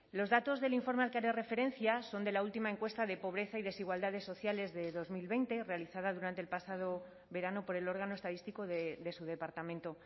los datos del informe al que haré referencia son de la última encuesta de pobreza y desigualdades sociales de dos mil veinte realizada durante el pasado verano por el órgano estadístico de su departamento